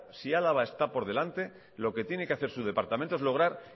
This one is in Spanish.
si álava está por delante lo que tiene que hacer su departamento es lograr